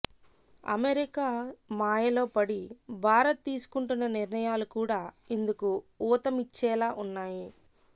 America మాయలో పడి భారత్ తీసుకుంటున్న నిర్ణయాలు కూడా ఇందుకు ఊతమిచ్చేలా ఉన్నాయి